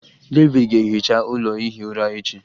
David ga-ehicha ụlọ ihi ụra echi